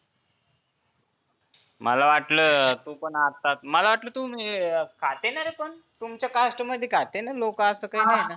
मला वाटलं तु पण आता, मला वाटलं तुम्ही अं खाते ना रे पण तुमच्या caste मध्ये खातेना लोकं असं काही नाही.